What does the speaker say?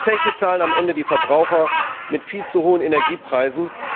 Die Zeche zahlen am Ende die Verbraucher mit viel zu hohen Energiepreisen.